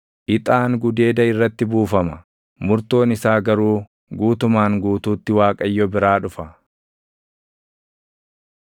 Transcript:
Ixaan gudeeda irratti buufama; murtoon isaa garuu guutumaan guutuutti Waaqayyo biraa dhufa.